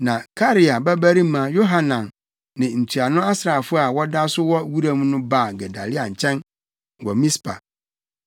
Na Karea babarima Yohanan ne ntuano asraafo a wɔda so wɔ wuram no baa Gedalia nkyɛn wɔ Mispa